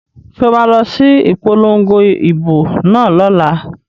So ma lọ sí ìpolongo ìbò náà lọ́la?